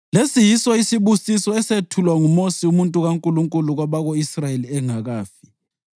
Lesi yiso isibusiso esethulwa nguMosi umuntu kaNkulunkulu kwabako-Israyeli engakafi.